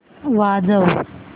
वाजव